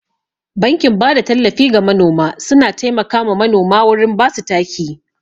Bankin bada tallafi ga manoma suna taimaka ma manoma wurin basu taki.